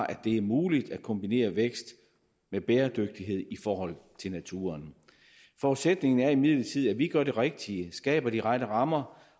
at det er muligt at kombinere vækst med bæredygtighed i forhold til naturen forudsætningen er imidlertid at vi gør det rigtige skaber de rette rammer